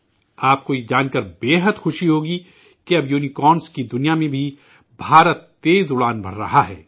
آپ کو یہ جان کر ازحد خوشی ہوگی کہ اب یونی کارنس کی دنیا میں بھی بھارت تیز اُڑان بھر رہا ہے